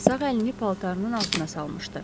Sağ əlini paltarının altına salmışdı.